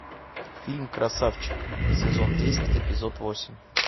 фильм красавчик сезон десять эпизод восемь